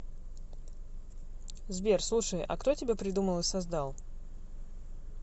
сбер слушай а кто тебя придумал и создал